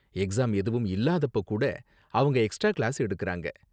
Exam எதுவும் இல்லாதப்போ கூட அவங்க எக்ஸ்ட்ரா கிளாஸ் எடுக்கறாங்க.